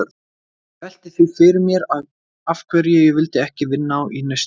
Ég velti því fyrir mér af hverju ég vildi ekki vinna í Nausti.